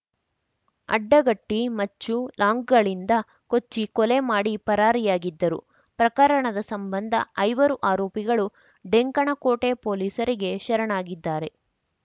ಅಡ್ಡಗಟ್ಟಿ ಮಚ್ಚು ಲಾಂಗ್‌ಗಳಿಂದ ಕೊಚ್ಚಿ ಕೊಲೆ ಮಾಡಿ ಪರಾರಿಯಾಗಿದ್ದರು ಪ್ರಕರಣದ ಸಂಬಂಧ ಐವರು ಆರೋಪಿಗಳು ಡೆಂಕಣಕೋಟೆ ಪೊಲೀಸರಿಗೆ ಶರಣಾಗಿದ್ದಾರೆ